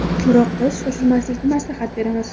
biroq biz shoshilmaslikni maslahat beramiz.